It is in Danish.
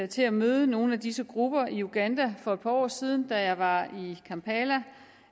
til at møde nogle af disse grupper i uganda for et par år siden da jeg var i kampala